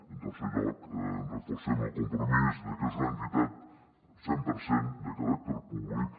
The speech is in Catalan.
en tercer lloc reforcem el compromís de que és una entitat cent per cent de caràcter públic